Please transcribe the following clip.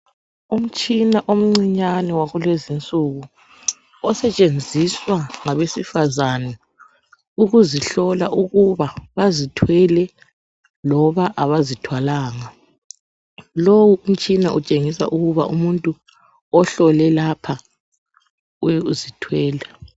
Umtshina omncinyane wakulezi nsuku, osetshenziswa ngabesifazane ukuzihlola ukuba bazithwele loba abazithwalanga. Lowo umtshina utshengisa ukuba umuntu ohlole lapha uzithwele.